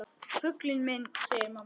Fuglinn minn, segir mamma.